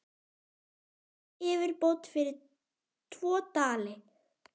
Gerið yfirbót fyrir tvo dali!